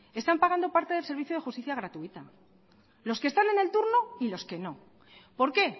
están pagando parte del servicio de justicia gratuita los que están en el turno y los que no por qué